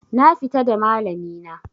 Na fita da malami na